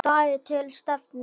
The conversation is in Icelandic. DAGAR TIL STEFNU.